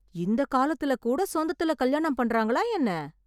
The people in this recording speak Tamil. இந்த காலத்துல கூட சொந்தத்துல கல்யாணம் பண்றாங்களா என்ன?